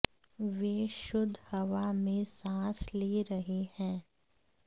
वे शुद्ध हवा में सांस ले रहे हैं